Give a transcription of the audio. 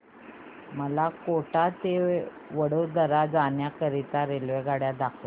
मला कोटा ते वडोदरा जाण्या करीता रेल्वेगाड्या दाखवा